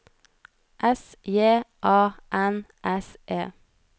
S J A N S E